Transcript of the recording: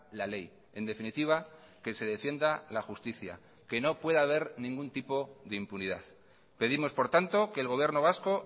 la ley en definitiva que se defienda la justicia que no pueda haber ningún tipo de impunidad pedimos por tanto que el gobierno vasco